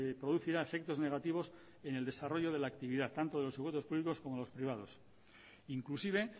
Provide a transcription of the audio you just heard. producirá efectos negativos en el desarrollo de la actividad tanto de los públicos como de los privados inclusive